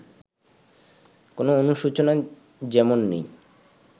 কোনো অনুশোচনা যেমন নেই